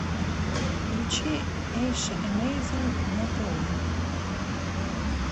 включи эйша эмейзин на тв